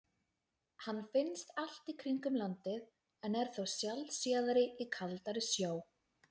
hann finnst allt í kringum landið en er þó sjaldséðari í kaldari sjó